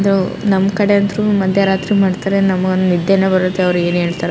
ಇದು ನಮ್ ಕಡೆ ಅಂಥರು ಮದ್ಯ ರಾತ್ರಿ ಮಾಡ್ತಾರೆ ನಮ ಒಂದ್ ನಿದ್ದೇನೆ ಬರತ್ತೆ ಅವ್ರ್ ಏನ್ ಹೇಳ್ತಾರೋ --